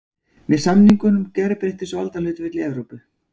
Með samningunum gerbreyttust valdahlutföll í Evrópu.